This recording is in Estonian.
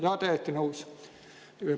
Jaa, täiesti nõus.